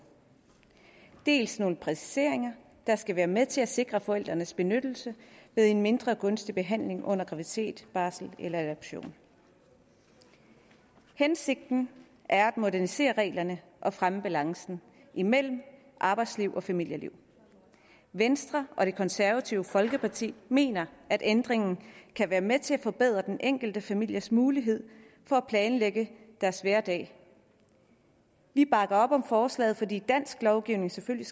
dels nogle præciseringer der skal være med til at sikre forældrenes benyttelse ved en mindre gunstig behandling under graviditet barsel eller adoption hensigten er at modernisere reglerne og fremme balancen imellem arbejdsliv og familieliv venstre og det konservative folkeparti mener at ændringen kan være med til at forbedre den enkelte families mulighed for at planlægge deres hverdag vi bakker op om forslaget fordi dansk lovgivning selvfølgelig